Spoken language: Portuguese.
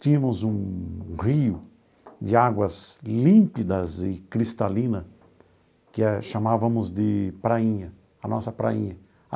Tínhamos um rio de águas límpidas e cristalina que chamávamos de prainha, a nossa prainha.